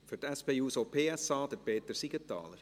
Für die SP-JUSO-PSA, Peter Siegenthaler.